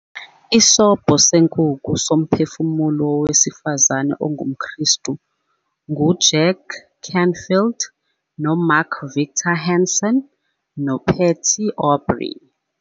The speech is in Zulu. Isobho Senkukhu Somphefumulo Wowesifazane OngumKristu nguJack Canfield noMark Victor Hansen noPatty Aubery